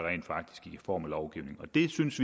i form af lovgivning vi synes